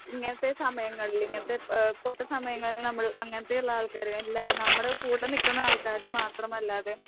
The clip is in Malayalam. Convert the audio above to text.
ഇങ്ങനത്തെ സമയങ്ങളിൽ ഇങ്ങനത്തെ ഏഹ് പൊട്ട സമയങ്ങളിൽ നമ്മൾ അങ്ങനത്തെയുള്ള ആൾക്കാരെ എല്ലാരും നമ്മുടെ കൂടെ നിൽക്കുന്ന ആൾക്കാരെ മാത്രമല്ലാതെ